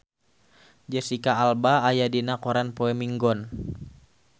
Jesicca Alba aya dina koran poe Minggon